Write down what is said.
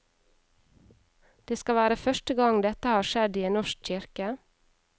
Det skal være første gang dette har skjedd i en norsk kirke.